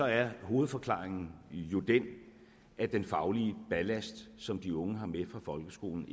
er hovedforklaringen jo den at den faglige ballast som de unge har med fra folkeskolen